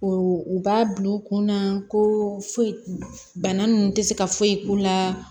O u b'a bila u kunna ko foyi bana nunnu tɛ se ka foyi k'u la